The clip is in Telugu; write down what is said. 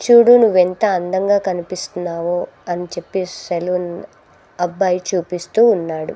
చూడు నువ్వు ఎంత అందంగా కనిపిస్తున్నావు అని చెప్పేసి సెలూన్ అబ్బాయి చూపిస్తూ ఉన్నాడు.